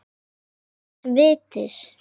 Og nýs vits.